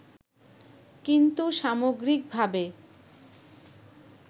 কিন্তু সামগ্রিকভাবে